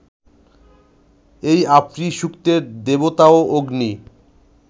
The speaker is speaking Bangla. এই আপ্রীসূক্তের দেবতাও অগ্নি